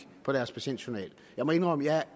på deres patientjournal jeg må indrømme